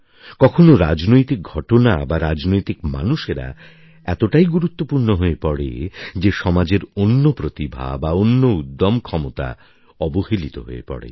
কখনও রাজনৈতিক ঘটনা বা রাজনৈতিক মানুষেরা এতটাই গুরুত্বপূর্ণ হয়ে পড়ে যে সমাজের অন্য প্রতিভা বা অন্য উদ্যম ক্ষমতা অবহেলিত হয়ে পড়ে